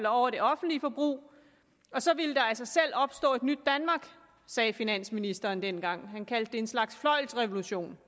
over det offentlige forbrug så ville der af selv opstå et nyt danmark sagde finansministeren dengang han kaldte det en slags fløjlsrevolution